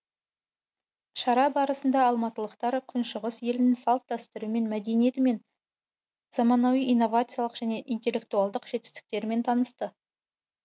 шара барысында алматылықтар күншығыс елінің салт дәстүрімен мәдениетімен заманауи инновациялық және интеллектуалдық жетістіктерімен танысты